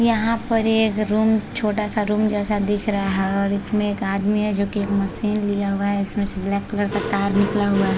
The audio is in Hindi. यहाँ पर ये एक रूम छोटा सा रूम जैसा दिख रहा है और इसमें एक आदमी है जो की एक मशीन लिया हुआ है जिसमे से ब्लैक कलर का तार निकला हुआ है।